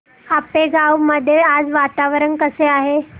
आपेगाव मध्ये आज वातावरण कसे आहे